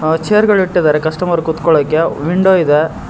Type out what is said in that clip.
ಚೇರ್ಗಳ್ ಇಟ್ಟಿದ್ದಾರೆ ಕಸ್ಟಮರ್ ಕೂತ್ಕೊಳ್ಳಕ್ಕೆ ವಿಂಡೋ ಇದೆ.